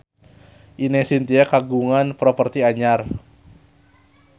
Ine Shintya kagungan properti anyar